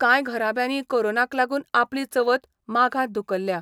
कांय घराब्यांनी कोरोनाक लागून अपली चवथ माघांत धुकल्ल्या.